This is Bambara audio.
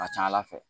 A ka ca ala fɛ